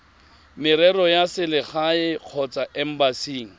merero ya selegae kgotsa embasing